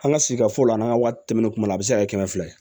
An ka sigi fɔ la n'an ka waati tɛmɛnen kun na a bɛ se ka kɛ kɛmɛ fila ye